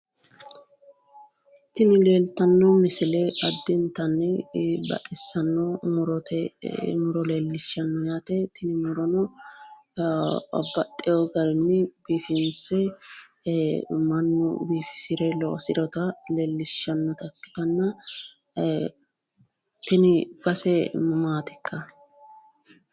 Tini leeltanno misile addintanni baxissanno murote muro leellishshanno yaate. Tini murono babbaxxiwo garinni biifinse mannu biifisire loosiriwota leellishshannota ikkitanna tini base maatikka?